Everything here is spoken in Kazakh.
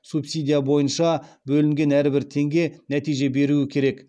субсидия бойынша бөлінген әрбір теңге нәтиже беруі керек